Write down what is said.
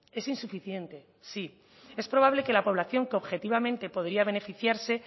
es insuficiente sí es probable que la población que objetivamente podría beneficiarse